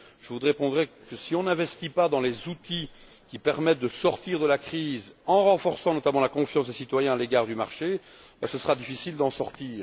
Je vous répondrai que si l'on n'investit pas dans les outils qui permettent de sortir de la crise en renforçant notamment la confiance des citoyens à l'égard du marché, il sera difficile d'en sortir.